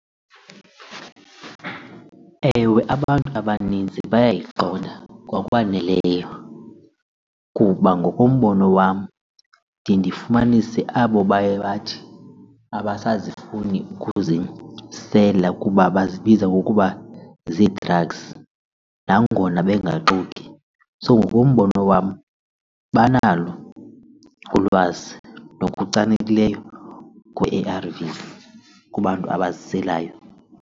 Ewe, abantu abanintsi bayayiqonda ngokwaneleyo kuba ngokombono wam ndiye ndifumanise abo baye bathi abasazifuni ukuzisela kuba bazibiza ukuba ziidragzi nangona bangaxoki. So ngokombono wam banalo ulwazi ngokuchanekileyo kwe-A_R_Vs kubantu abaziselayo.